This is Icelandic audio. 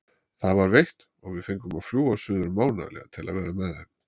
Það var veitt og við fengum að fljúga suður mánaðarlega til að vera með þeim.